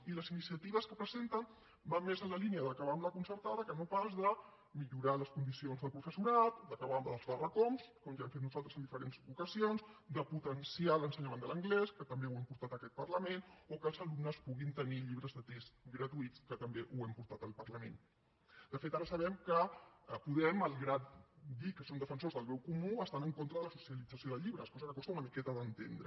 i les iniciatives que presenten van més en la línia d’acabar amb la concertada que no pas de millorar les condicions del professorat d’acabar amb els barracons com ja hem fet nosaltres en diferents ocasions de potenciar l’ensenyament de l’anglès que també ho hem portat a aquest parlament o que els alumnes puguin tenir llibres de text gratuïts que també ho hem portat al parlament de fet ara sabem que podem malgrat dir que són defensors del bé comú estan en contra de la socialització de llibres cosa que costa una miqueta d’entendre